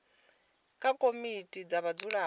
kha komiti dza vhadzulapo zwi